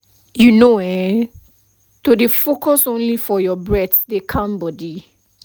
you know[um]to dey focus only for your breath dey calm body